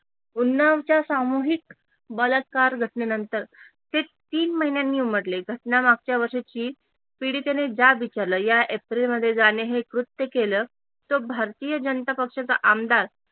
उन्नावच्या सामूहिक बलात्कार घटनेनंतर हे तीन महिन्यांनी उमटले घटना मागच्या वर्षाची पीडितेने जाब विचारल या एप्रिल मध्ये ज्याने हे कृत्य केल तो भारतीय जनता पक्षाचा आमदार